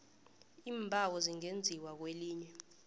iimbawo zingenziwa kwelinye